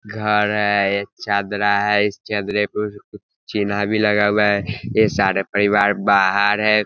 घर है एक चदरा है इस चदरा पे चिन्हा भी लगा हुआ है ये सारे परिवार बाहर है।